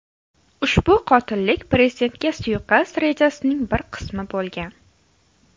Ushbu qotillik prezidentga suiqasd rejasining bir qismi bo‘lgan.